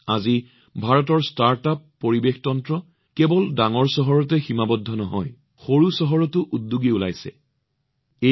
আজি ভাৰতৰ ষ্টাৰ্টআপ পৰিস্থিতিতন্ত্ৰ কেৱল ডাঙৰ চহৰতে সীমাবদ্ধ নহয় সৰু চহৰ আৰু চুবুৰীৰ উদ্যোগীও ওলাই আহিছে